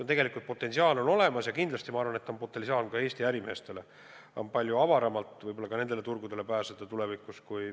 Ja kindlasti on olemas potentsiaal ka Eesti ärimeestele, neile ehk avaneb tulevikus palju avaram võimalus just nendele turgudele pääseda.